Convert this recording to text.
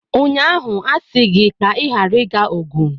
Ụnyaahụ asị gị ka ịghara ịga Ogun!